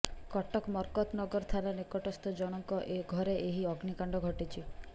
କଟକ ମର୍କତନଗର ଥାନା ନିକଟସ୍ଥ ଜଣଙ୍କ ଘରେ ଏହି ଅଗ୍ନିକାଣ୍ଡ ଘଟିଛି